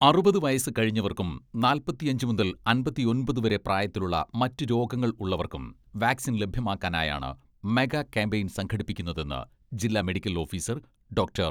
അറുപത് വയസ്സ് കഴിഞ്ഞവർക്കും നാൽപ്പത്തിയഞ്ച് മുതൽ അമ്പത്തിയൊൻപത് പ്രായത്തിലുള്ള മറ്റ് രോഗങ്ങൾ ഉള്ളവർക്കും വാക്സിൻ ലഭ്യമാക്കാനായാണ് മെഗാ ക്യാമ്പയിൻ സംഘടിപ്പിക്കുന്നതെന്ന് ജില്ലാ മെഡിക്കൽ ഓഫീസർ ഡോക്ടർ.